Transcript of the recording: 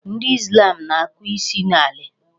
Ndị Islam na-akụ isi n'ala.